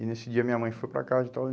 E nesse dia minha mãe foi para casa e tal.